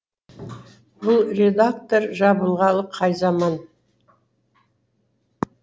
бұл реактор жабылғалы қай заман